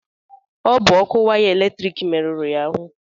Ọ bụ ọkụ waya eletrik meruru ya ahụ.